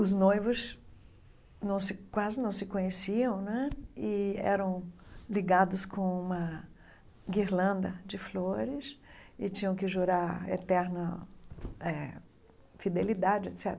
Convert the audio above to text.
Os noivos não se quase não se conheciam né e eram ligados com uma guirlanda de flores e tinham que jurar eterna eh fidelidade etcetera.